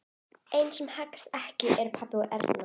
Einu sem haggast ekki eru pabbi og Erna.